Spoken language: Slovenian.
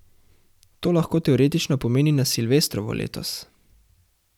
To lahko teoretično pomeni na silvestrovo letos.